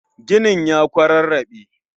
Ginin ya kwararrabe